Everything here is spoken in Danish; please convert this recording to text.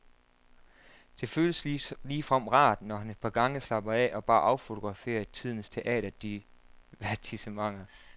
Det føles ligefrem rart, når han et par gange slapper af og bare affograferer tidens teaterdivertissementer.